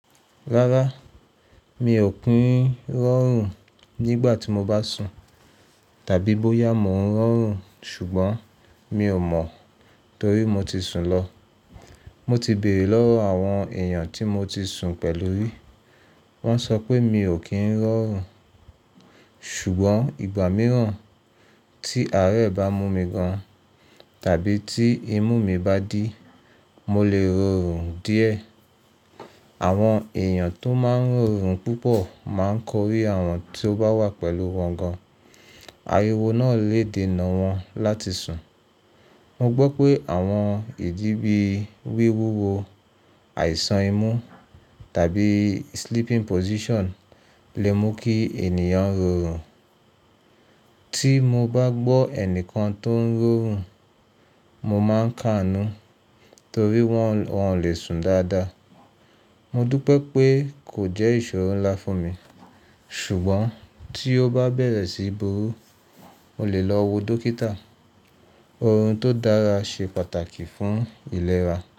Rárá, mi ò kí ń rọrùn nígbà tí mo bá sùn tàbí bóyá mò ń rọrùn ṣùgbọ́n mi ò mọ̀ torí mo ti sùn lọ. Mo ti bèrè lọ́wọ́ àwọn èèyàn tí mo ti sùn pẹ̀lú rí, wọ́n sọ pé mi ò kí ń rọrùn. Ṣùgbọ́n ìgbà mìíràn tí àárẹ̀ bá mú mi gan tàbí tí imú mi bá dí, mo lè rorùn díẹ̀. Àwọn èèyàn tó máa ń rọrùn púpọ̀ máa ń korí àwọn tí ó bá wà pẹ̀lú wọn gan, ariwo náà lè dènà wọn láti sùn. Mo gbọ́ pé àwọn ìdí bí wíwúwo, àìsàn imú tàbí sleeping position lè mú kí ènìyàn rọrùn. Tí mo bá gbọ́ ẹnìkan tó ń rọrùn, mo máa ń kàánú torí wọn, wọn ò lè sùn dáadáa. Mo dúpẹ́ pé kò jẹ́ ìṣòro ńlá fún mi ṣùgbọ́n tí ó bá bẹ̀rẹ̀ sí buru, mo lè lọ wo dókítà. Orun tó dára ṣe pàtàkì fún ìlera.